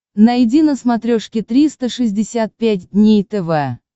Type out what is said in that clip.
найди на смотрешке триста шестьдесят пять дней тв